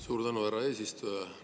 Suur tänu, härra eesistuja!